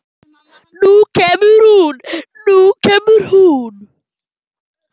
Nú kemur hún, nú kemur hún!